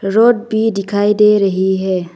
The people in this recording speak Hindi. रोड भी दिखाई दे रहे है।